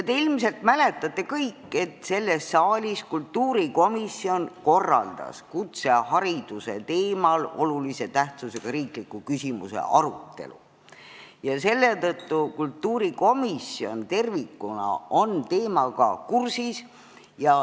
Te kõik ilmselt mäletate, et kultuurikomisjon korraldas selles saalis kutsehariduse teemal olulise tähtsusega riikliku küsimuse arutelu ja selle tõttu on kultuurikomisjon tervikuna teemaga kursis.